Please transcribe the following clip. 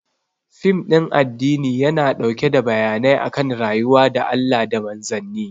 Fim ɗin addini yana ɗauke da bayanai akan rayuwa da Allah da Manzanni